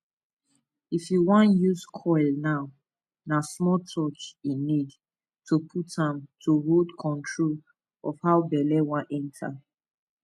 if you want use coil na na small touch e need to put am to hold control of how belle wan enter